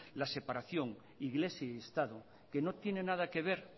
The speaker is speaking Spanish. la separación iglesia y estado que no tiene nada que ver